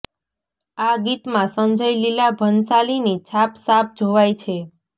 આ ગીતમાં સંજય લીલા ભંસાલીની છાપ સાફ જોવાઈ છે